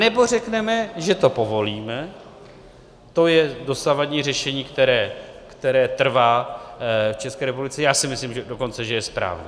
Anebo řekneme, že to povolíme, to je dosavadní řešení, které trvá v České republice, já si myslím dokonce, že je správné.